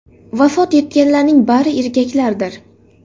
Vafot etganlarning bari erkaklardir.